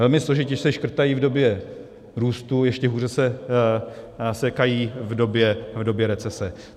Velmi složitě se škrtají v době růstu, ještě hůře se sekají v době recese.